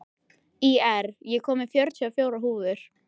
Ír, ég kom með fjörutíu og fjórar húfur!